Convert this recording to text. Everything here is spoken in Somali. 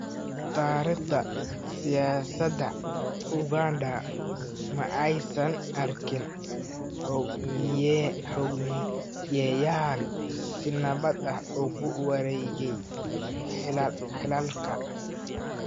Taariikhda siyaasadda Uganda ma aysan arkin hoggaamiyeyaal si nabad ah ugu wareegaya xilalka.